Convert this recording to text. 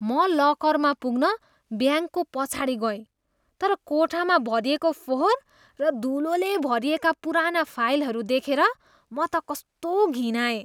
म लकरमा पुग्न ब्याङ्कको पछाडि गएँ, तर कोठामा भरिएको फोहोर र धुलोले भरिएका पुराना फाइलहरू देखेर म त कस्तो घिनाएँ।